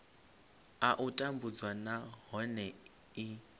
a u tambudzwa nahone i